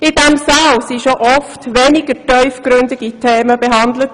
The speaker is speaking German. In diesem Saal wurden schon oft weniger tiefgründige Themen behandelt.